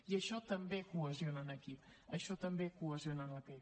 i això també cohesiona un equip això també cohesiona un equip